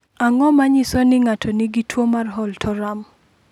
Ang’o ma nyiso ni ng’ato nigi tuwo mar Holt Oram?